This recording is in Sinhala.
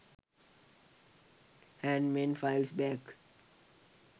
handmade files bags